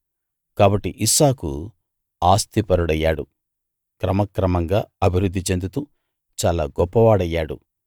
కాబట్టి ఇస్సాకు ఆస్తిపరుడయ్యాడు క్రమక్రమంగా అభివృద్ధి చెందుతూ చాలా గొప్పవాడయ్యాడు